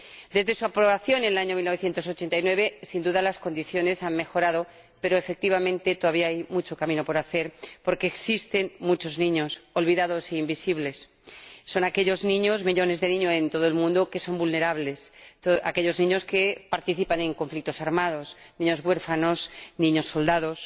Desde su aprobación en el año 1989, sin duda las condiciones han mejorado, pero, efectivamente, todavía hay mucho camino por hacer, porque existen muchos niños olvidados e invisibles. Son aquellos niños —millones de niños en todo el mundo— que son vulnerables, aquellos niños que participan en conflictos armados, niños huérfanos, niños soldados.